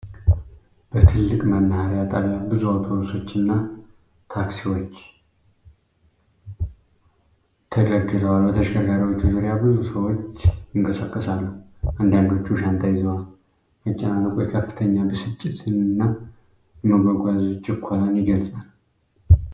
በትልቅ የመናኸሪያ ጣቢያ ብዙ አውቶቡሶችና ታክሲዎች ተደርድረዋል። በተሽከርካሪዎቹ ዙሪያ ብዙ ሰዎች ይንቀሳቀሳሉ፤ አንዳንዶቹ ሻንጣ ይዘዋል። መጨናነቁ የከፍተኛ ብስጭትንና የመጓጓዝ ችኮላን ይገልጻል።